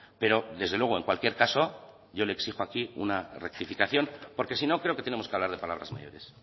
pero desde luego en cualquier caso yo le exijo aquí una rectificación porque si no creo que tenemos que hablar de palabras mayores